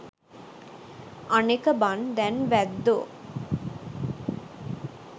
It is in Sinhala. අනෙක බන් දැන් වැද්දෝ